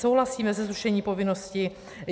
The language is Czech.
Souhlasíme se zrušením povinnosti.